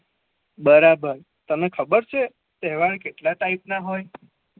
બરોબર તને ખબર છે તહેવાર કેટલા ટાઈપ ના હોય